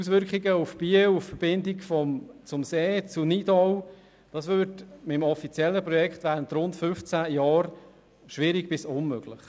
Die Auswirkungen auf Biel, auf die Verbindung zum See, zu Nidau, wären beim offiziellen Projekt während rund 15 Jahren schwierig bis unmöglich.